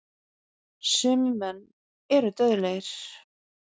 Sumir menn eru dauðlegir.